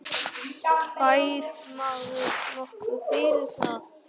Fær maður nokkuð fyrir það?